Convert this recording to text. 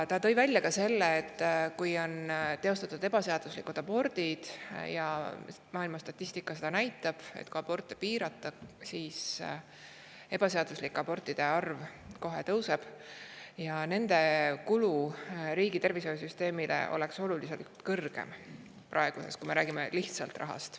Ta tõi esile, et ebaseaduslike abortidega kulu riigi tervishoiusüsteemile – maailma statistika näitab seda, et kui aborte piirata, siis ebaseaduslike abortide arv kohe kasvab – oleks oluliselt suurem kui praegune kulu, kui me räägime lihtsalt rahast.